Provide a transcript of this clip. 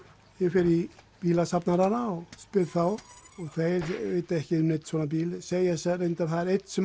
ég fer í bílasafnarana og spyr þá þeir vita ekki um neinn svona bíl segja reyndar það er einn sem